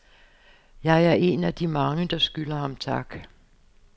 Jeg er en af de mange, der skylder ham tak.